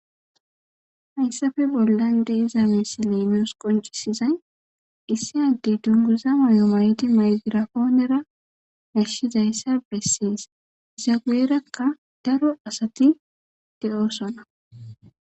Hayssi bolara deya misilley nussi qoncisizzay issi addey mygrafonerra odettidayssa besses iya guyerrakka daro asatti dizzaysas besses.